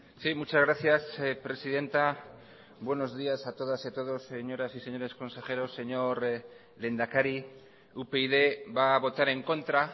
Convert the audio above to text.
sí muchas gracias presidenta buenos días a todas y a todos señoras y señores consejeros señor lehendakari upyd va a votar en contra